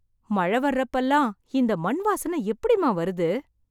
மழை வர்றப்பல்லாம், இந்த மண் வாசனை எப்டிம்மா வருது...